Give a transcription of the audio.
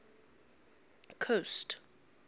coast